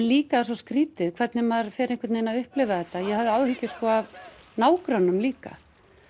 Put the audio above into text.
líka svo skrítið hvernig maður fer einhvern vegin að upplifa þetta ég hafði áhyggjur sko af nágrönnum líka